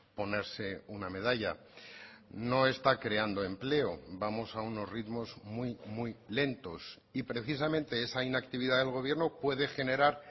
ponerse una medalla no está creando empleo vamos a unos ritmos muy muy lentos y precisamente esa inactividad del gobierno puede generar